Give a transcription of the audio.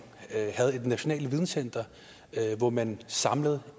havde et nationalt videncenter hvor man samlede